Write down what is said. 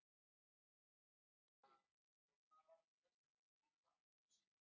Magnús Hlynur Hreiðarsson: Hvað þýðir þetta fyrir safnið og ykkur?